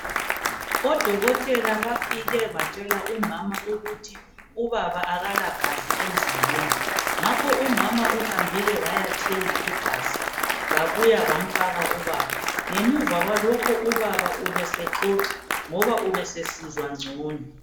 Odokotela bafike batshela umama ukuthi ubaba akalagazi emzimbeni ngakho umama uhambile wayathenga igazi babuya bamfaka ubaba. Ngemuva kwalokho ubaba ubesexoxa ngoba ubesesizwa ngcono.